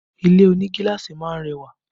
Ilé oní gíláàsì máa ń rẹwà